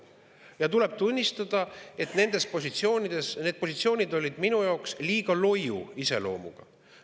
Tuleb tunnistada, et need positsioonid olid minu jaoks liiga loiu iseloomuga.